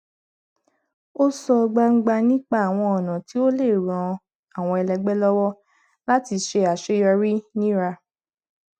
ó sọ gbangba nípa àwọn ọnà tí ó lè ran àwọn ẹlẹgbẹ lọwọ láti ṣe àṣeyọrí nírà